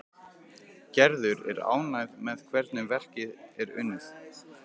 Gerður er ánægð með hvernig verkið er unnið.